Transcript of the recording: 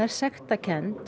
sektarkennd